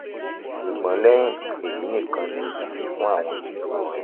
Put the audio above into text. ṣugbọn lẹhin eyi nikan ni idi fun awọn iṣoro rẹ